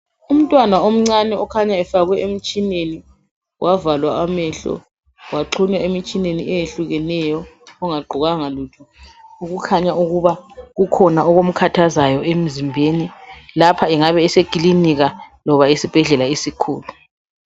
Ummtwana omncane okhanya efakwe emtshineni wavalwa amehlo waxhunywa emitshineni eyehlukeneyo ongagqokanga lutho okukhanya ukuba kukhona okumkhahjazayo emzimbeni lapha engabe eselilinika loba esibhedlela esikhulu.